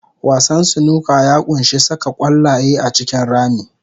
Wasan snooker ya ƙunshi saka ƙwallaye a cikin rami.